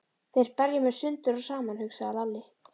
Þeir berja mig sundur og saman, hugsaði Lalli.